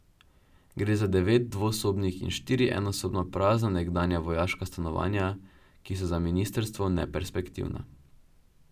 Gre za devet dvosobnih in štiri enosobna prazna nekdanja vojaška stanovanja, ki so za ministrstvo neperspektivna.